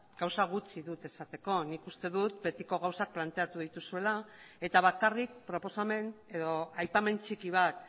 gauza gutxi dut esateko nik uste dut betiko gauzak planteatu dituzuela eta bakarrik proposamen edo aipamen txiki bat